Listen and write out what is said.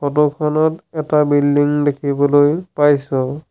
Photo খনত এটা building দেখিবলৈ পাইছোঁ।